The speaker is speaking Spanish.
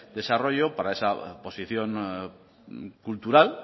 desarrollo para esa posición cultural